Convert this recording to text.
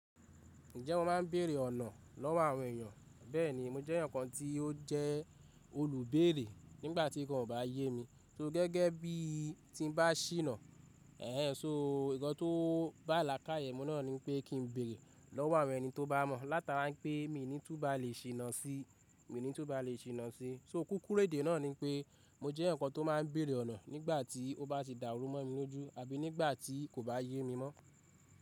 Ǹjẹ́ mo máa ń bèrè ọ̀nà lọ́wọ́ àwọn èèyàn. Bẹ́ẹ̀ni, mo jẹ́ ǹkan tí ó jẹ́ olùbéèrè nígbà tí nǹkan ò bá yé mi, so gẹ́gẹ́ bí tí nbá si na. Ẹ̀ẹ́ so ǹkan tó bá làkáàyè mu náà ni pé kí n bèrè lọ́wọ́ àwọn èèyàn tó bá mọ̀, látara pé mi ní tún bá lè si na sí. Mi ní tún bá lè si na sí. So kúkúrú èdè náà ni pé mo jẹ́ eyan kan tó máa ń bèrè ọ̀nà nígbà tí ó bá ti dàru mọ́ mi lójú àbí nígbà tí kò bá yé mi mọ́.